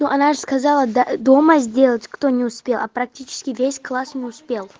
ну она же сказала да дома сделать кто не успел а практически весь класс не успел